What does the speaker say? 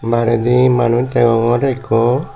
ar indi manuj deyongor ekko.